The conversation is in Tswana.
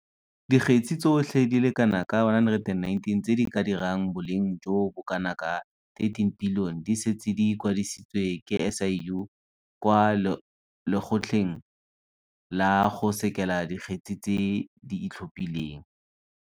Dikgetse tsotlhe di le kana ka 119 tse di ka dirang boleng jo bo kanaka R13 bilione di setse di kwadisitswe ke SIU kwa Lekgotleng la go Sekela Dikgetse tse di Itlhophileng.